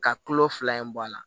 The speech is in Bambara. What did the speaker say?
Ka kulo fila in bɔ a la